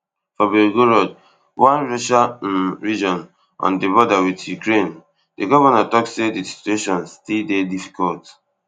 for velvoron one russian um region on di border wit ukraine di govnor tok say di situation still dey difficult